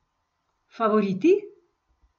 Favoriti?